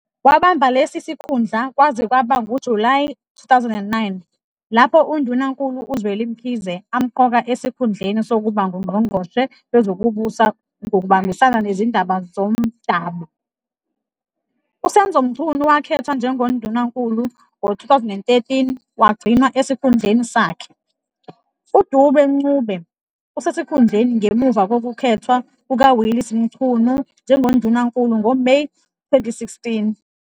Wabamba lesi sikhundla kwaze kwaba nguJulayi 2009, lapho uNdunankulu uZweli Mkhize amqoka esikhundleni sokuba nguNgqongqoshe Wezokubusa Ngokubambisana Nezindaba ZoMdabu. USenzo Mchunu wakhethwa njengoNdunankulu ngo-2013, wagcinwa esikhundleni sakhe. UDube-Ncube usesikhundleni ngemuva kokukhethwa kukaWillies Mchunu njengoNdunankulu ngoMeyi 2016.